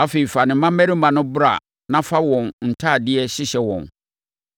Afei, fa ne mmammarima no bra na fa wɔn ntadeɛ hyehyɛ wɔn